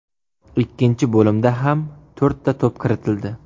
Ikkinchi bo‘limda ham to‘rtta to‘p kiritildi.